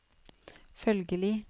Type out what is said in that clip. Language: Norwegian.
følgelig